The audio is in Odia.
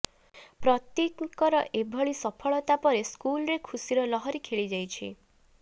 ପ୍ରତୀକ୍ଙ୍କ ଏଭଳି ସଫଳତା ପରେ ସ୍କୁଲରେ ଖୁସିର ଲହରି ଖେଳିଯାଇଛି